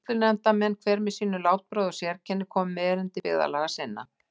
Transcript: Sýslunefndarmenn, hver með sínu látbragði og sérkenni, komu með erindi byggðarlaga sinna.